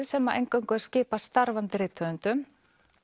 sem eingöngu er skipað starfandi rithöfundum